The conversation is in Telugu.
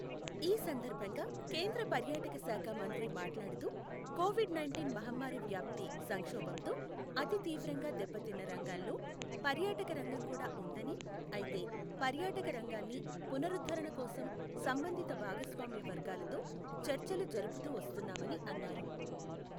ఈ సందర్భంగా కేంద్ర పర్యాటక శాఖ మంత్రి మాట్లాడుతూ, కోవిడ్ నైంటీన్ మహమ్మారి వ్యాప్తి సంక్షోభంతో అతి తీవ్రంగా దెబ్బతిన్న రంగాల్లో పర్యాటక రంగం కూడా ఉందని, అయితే, పర్యాటక రంగాన్ని పునరుద్ధణకోసం సంబంధిత భాగస్వామ్య వర్గాలతో చర్చలు జరుపుతూ వస్తున్నామని అన్నారు.